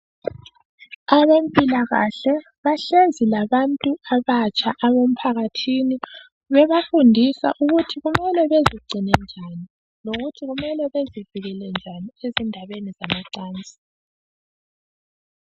Abempilakahle bahlezi labantu abatsha abemphakathini bebafundisa ukuthi kumele bezigcine njani lokuthi kumele bezivikele njani endabeni zamacansi.